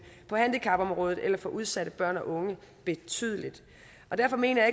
på handicapområdet eller for udsatte børn og unge betydeligt og derfor mener